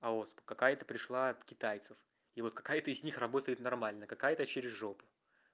а у вас какое-то пришла от китайцев и вот какая-то из них работает нормально какая-то через жопу